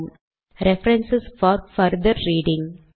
- reference for further reading